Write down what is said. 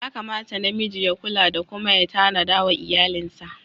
Yakamata na miji ya kula da kuma ya tanada wa iyalinsa.